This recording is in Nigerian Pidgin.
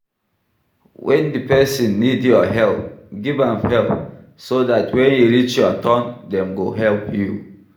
When di person need your help, give am help so dat when e reach your turn dem go help you